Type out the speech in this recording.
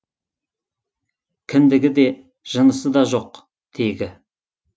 кіндігі де жынысы да жоқ тегі